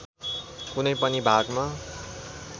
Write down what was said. कुनै पनि भागमा